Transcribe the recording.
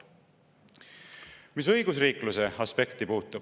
Mis õigusriikluse aspekti puutub …